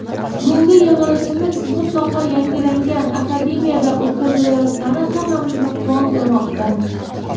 Bugungi yig‘ilishimiz mutlaqo yangilangan Akademiyada o‘tkazilayotgani hammamizni quvontirmoqda.